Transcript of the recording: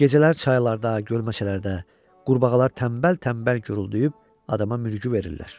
Gecələr çaylarda, gölməçələrdə qurbağalar tənbəl-tənbəl guruldayıb adama mürgü verirlər.